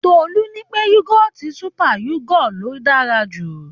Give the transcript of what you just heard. Tolú ní pé yógọ́ọ̀tì super yogo ló dára jù.